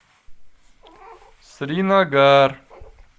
сринагар